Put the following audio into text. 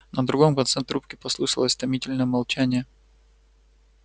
на другом конце трубки послышалось томительное молчание